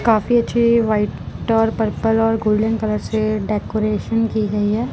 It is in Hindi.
काफी अच्छी व्हाइट और पर्पल और गोल्डन कलर से डेकोरेशन की गई है।